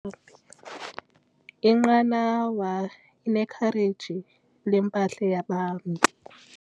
Inqanawa inekhareji lempahla yabahambi.